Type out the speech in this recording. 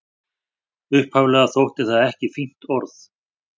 Upphaflega þótti það ekki fínt orð.